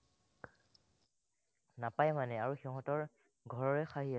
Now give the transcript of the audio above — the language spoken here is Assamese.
নাপায়ে মানে আৰু সিহঁতৰ ঘৰৰে খাহি মাংস